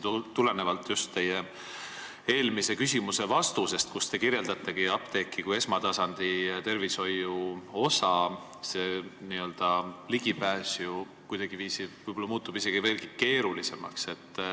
Teie eelmise küsimuse vastuse peale, kus te kirjeldasite apteegi kui esmatasandi tervishoiu osa, leian, et ligipääs ravimitele muutub võib-olla veelgi keerulisemaks.